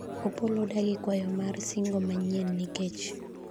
Opollo odagi kwayo mar singo manyien nikech